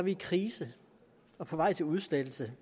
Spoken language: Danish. i krise og på vej til udslettelse